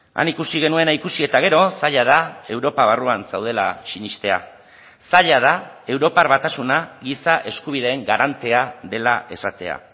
han ikusi genuena ikusi eta gero zaila da europa barruan zaudela sinestea zaila da europar batasuna giza eskubideen garantea dela esatea